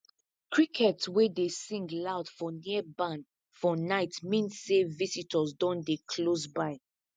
crickets wey dey sing loud for near barn for night mean say visitor don dey close by